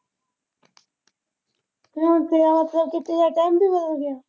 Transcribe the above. ਹੁਣ ਤੇਰਾ . ਤੇਰਾ ਟਾਈਮ ਵੀ ਬਦਲ ਗਿਆ।